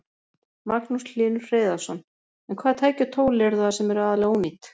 Magnús Hlynur Hreiðarsson: En hvaða tæki og tól eru það sem eru aðallega ónýt?